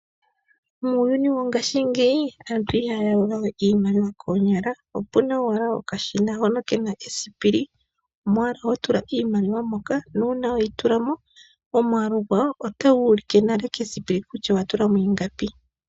Muuyuni wongashingeyi aantu ihaya yalula we iimaliwa koonyala. Opuna owala okashina hono kena esipili mono ho tula iimaliwa. Nuuna weyi tula mo omwaalu gwayo ota gu ulike nale kesipili kutya owa tula mo ingapi.